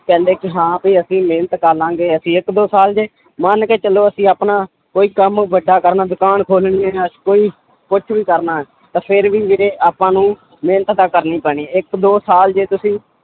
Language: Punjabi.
ਕਹਿੰਦੇ ਕਿ ਹਾਂ ਵੀ ਅਸੀਂ ਮਿਹਨਤ ਕਰ ਲਵਾਂਗੇ ਅਸੀਂ ਇੱਕ ਦੋ ਸਾਲ ਜੇ ਮੰਨ ਕੇ ਚੱਲੋ ਅਸੀਂ ਆਪਣਾ ਕੋਈ ਕੰਮ ਵੱਡਾ ਕਰਨਾ ਦੁਕਾਨ ਖੋਲਣੀ ਹੈ ਜਾਂ ਕੋਈ ਕੁਛ ਵੀ ਕਰਨਾ ਹੈ ਤਾਂ ਫਿਰ ਵੀ ਵੀਰੇ ਆਪਾਂ ਨੂੰ ਮਿਹਨਤ ਤਾਂ ਕਰਨੀ ਪੈਣੀ, ਇੱਕ ਦੋ ਸਾਲ ਜੇ ਤੁਸੀਂ